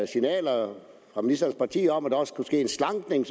signaler fra ministerens parti om at der også kunne ske en slankning